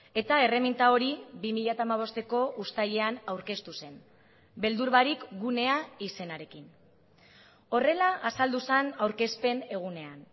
eta erreminta hori bi mila hamabosteko uztailean aurkeztu zen beldur barik gunea izenarekin horrela azaldu zen aurkezpen egunean